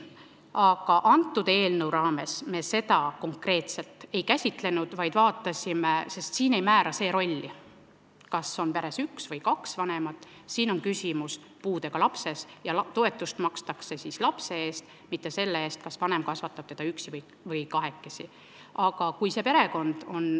Aga selle eelnõu raames me seda konkreetselt ei käsitlenud, sest siin ei määra see rolli, kas on peres üks vanem või kaks vanemat, siin on küsimus puudega lapses ja toetust makstakse lapse eest, mitte selle eest, kas vanem kasvatab teda üksi või kasvatatakse teda kahekesi.